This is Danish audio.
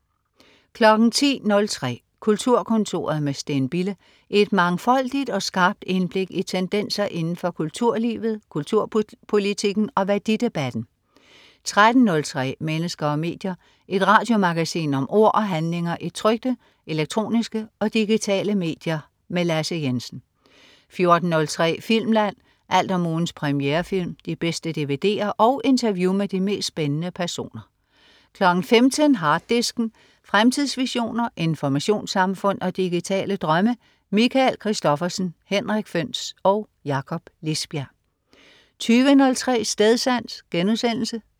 10.03 Kulturkontoret. med Steen Bille. Et mangfoldigt og skarpt indblik i tendenser inden for kulturlivet, kulturpolitikken og værdidebatten 13.03 Mennesker og medier. Et radiomagasin om ord og handlinger i trykte, elektroniske og digitale medier. Lasse Jensen 14.03 Filmland. Alt om ugens premierefilm, de bedste dvd'er og interview med de mest spændende personer 15.00 Harddisken. Fremtidsvisioner, informationssamfund og digitale drømme. Michael Christophersen, Henrik Føhns og Jakob Lisbjerg 20.03 Stedsans*